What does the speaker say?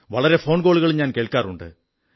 വളരെ ഫോൺകോളുകളും കേൾക്കാറുണ്ട്